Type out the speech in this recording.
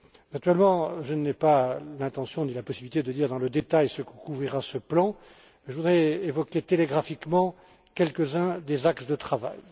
Naturellement, je n'ai pas l'intention ni la possibilité de dire dans le détail ce que couvrira ce plan, mais je voudrais évoquer télégraphiquement quelques uns des axes de travail.